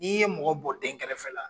N'i ye mɔgɔ bɔ dɛnkɛrɛfɛ la.